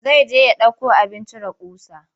Zai je ya ɗauko abin cire ƙusa.